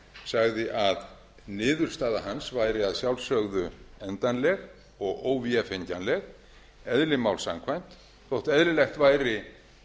sagði að niðurstaða hans væri að sjálfsögðu endanleg og óvefengjanleg eðli máls samkvæmt þótt eðlilegt væri